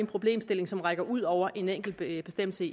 problemstilling som rækker ud over en enkelt bestemmelse